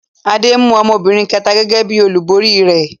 Adé mú ọmọbìnrin kẹ̀ta gẹ́gẹ́ bí i olúborí rẹ̀.